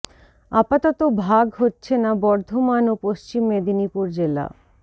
আপাতত ভাগ হচ্ছে না বর্ধমান ও পশ্চিম মেদিনীপুর জেলা